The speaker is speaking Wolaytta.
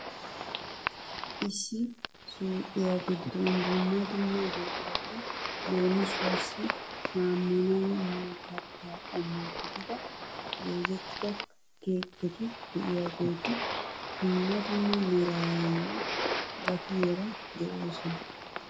Issi suyqiyaa giddon dumma dumma buqurati leemisuwaassi saamunay miyo kattaa qommo gidida goozettida keeketti de'iyaageti dumma dumma meraaranne gatiyaara de'oosona.